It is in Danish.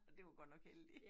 Det var godt nok heldigt